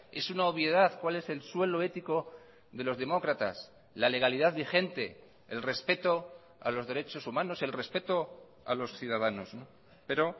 es una obviedad cuál es el suelo ético de los demócratas la legalidad vigente el respeto a los derechos humanos el respeto a los ciudadanos pero